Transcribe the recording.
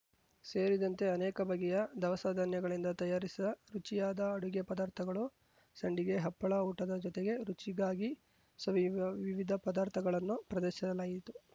ಸೇರಿದಂತೆ ಅನೇಕ ಬಗೆಯ ದವಸಧಾನ್ಯಗಳಿಂದ ತಯಾರಿಸಿದ ರುಚಿಯಾದ ಅಡುಗೆ ಪದಾರ್ಥಗಳು ಸಂಡಿಗೆ ಹಪ್ಪಳ ಊಟದ ಜೊತೆಗೆ ರುಚಿಗಾಗಿ ಸವಿಯುವ ವಿವಿಧ ಪದಾರ್ಥಗಳನ್ನು ಪ್ರದರ್ಶಿಸಲಾಯಿತು